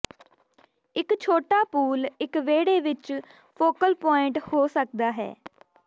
ਇੱਕ ਛੋਟਾ ਪੂਲ ਇੱਕ ਵਿਹੜੇ ਵਿੱਚ ਫੋਕਲ ਪੁਆਇੰਟ ਹੋ ਸਕਦਾ ਹੈ